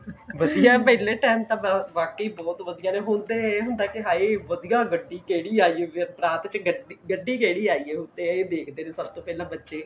ਵਧੀਆ ਏ ਪਹਿਲੇ time ਚ ਵਾਕਿਆਂ ਹੀ ਬਹੁਤ ਵਧੀਆ ਰਿਹਾ ਹੁਣ ਤੇ ਹਾਈ ਵਧੀਆ ਗੱਡੀ ਕਿਹੜੀ ਆਈ ਏ ਬਰਾਤ ਵਿੱਚ ਗੱਡੀ ਗੱਡੀ ਕਿਹੜੀ ਆਈ ਏ ਹੁਣ ਤੇ ਇਹ ਦੇਖਦੇ ਨੇ ਸਭ ਤੋਂ ਪਹਿਲਾਂ ਬੱਚੇ